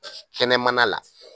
Kɛnɛmana la.